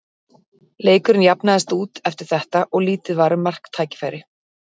Leikurinn jafnaðist út eftir þetta og lítið var um marktækifæri.